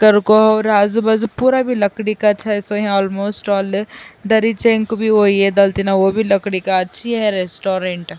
کر کو اور اجو باجو پورا بھی لکڑی کا چھ سو وو بھی لکڑی کا اچھی ہے ریسٹورنٹ --